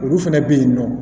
Olu fɛnɛ bɛ yen nɔ